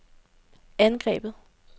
angrebet